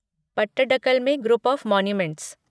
पट्टडकल में group of monuments